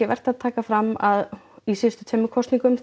vert að taka fram að í síðustu tveimur kosningum